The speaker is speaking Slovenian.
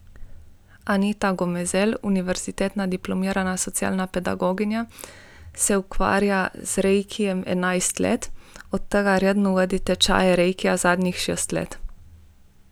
Anita Gomezel, univerzitetna diplomirana socialna pedagoginja, se ukvarja z reikijem enajst let, od tega redno vodi tečaje reikija zadnjih šest let.